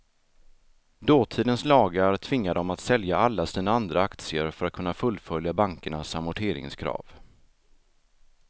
Dåtidens lagar tvingade dem att sälja alla sina andra aktier för att kunna fullfölja bankernas amorteringskrav.